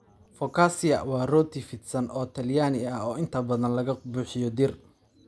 Focaccia waa rooti fidsan oo Talyaani ah oo inta badan laga buuxiyey dhir.